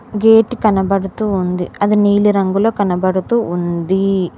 Gate కనబడుతూ ఉంది అది నీలి రంగులో కనబడుతూ ఉంది.